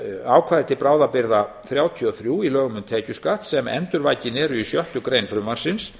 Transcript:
ákvæði til bráðabirgða þrjátíu og þrjú í lögum um tekjuskatt sem endurvakin eru í sjöttu grein frumvarpsins